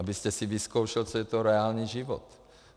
Abyste si vyzkoušel, co je to reálný život.